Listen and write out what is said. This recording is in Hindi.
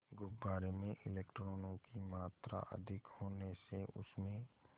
गुब्बारे में इलेक्ट्रॉनों की मात्रा अधिक होने से उसमें